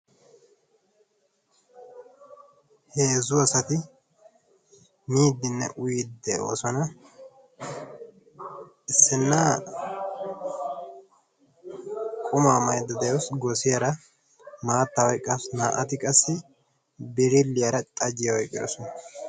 Heezzu asati miiddinne uyiiddi de'oosona. Issinna qumaa maydda de'awus godiyara maattaa oyqqaasu naa'ati qassi birilliyara xajjiya oyqqidosona.